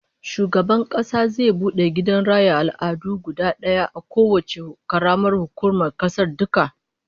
Shugaban Kasa zai bude gidan raya al'adu guda daya a kowacce karamar hukuma a kasar duka